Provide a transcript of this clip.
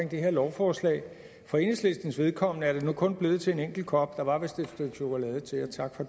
det her lovforslag for enhedslistens vedkommende er det nu kun blevet til en enkelt kop der var vist et stykke chokolade til og tak for